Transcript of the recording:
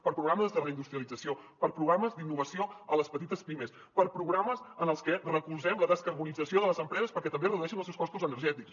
per a programes de reindustrialització per a programes d’innovació a les petites pimes per a programes en els que recolzem la descarbonització de les empreses perquè també redueixin els seus costos energètics